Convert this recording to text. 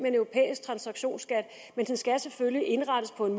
en europæisk transaktionsskat men den skal selvfølgelig indrettes på en